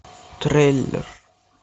трейлер